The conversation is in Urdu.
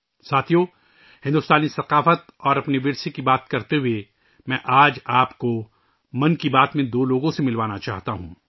ساتھیو، بھارتی ثقافت اور ہمارے ورثے کے بارے میں بات کرتے ہوئے، آج میں آپ کو 'من کی بات ' میں دو لوگوں سے ملوانا چاہتا ہوں